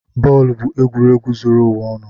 Bọọlụ bụ egwuregwu zuru ụwa ọnụ.